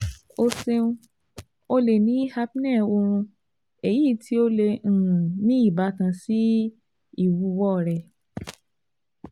O ṣeun, o le ni apnea oorun, eyi ti o le um ni ibatan si iwuwo rẹ